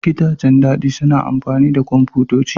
Gidajen dab'i suna amfani da kwamfutoci.